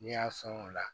N'i y'a fɛn o la